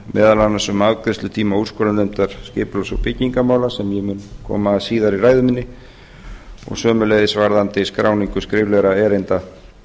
meðal annars um afgreiðslutíma úrskurðarnefndar skipulags og byggingarmála sem ég mun koma að síðar í ræðu minni og sömuleiðis varðandi skráningu skriflegra erinda